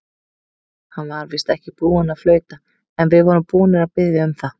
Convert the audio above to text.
Hann var víst ekki búinn að flauta, en við vorum búnir að biðja um það.